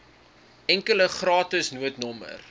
enkele gratis noodnommer